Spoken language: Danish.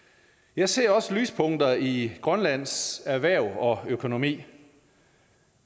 jeg ser også lyspunkter i grønlands erhverv og økonomi